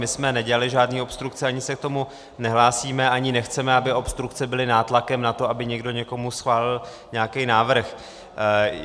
My jsme nedělali žádné obstrukce, ani se k tomu nehlásíme, ani nechceme, aby obstrukce byly nátlakem na to, aby někdo někomu schválil nějaký návrh.